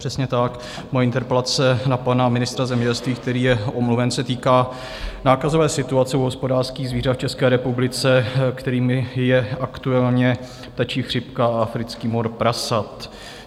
Přesně tak, moje interpelace na pana ministra zemědělství, který je omluven, se týká nákazové situace u hospodářských zvířat v České republice, kterou je aktuálně ptačí chřipka a africký mor prasat.